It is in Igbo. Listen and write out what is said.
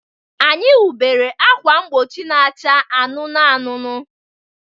Anyị nweburu ákwà mgbochi na-acha anụnụ anụnụ.